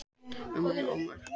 Ummæli ómerkt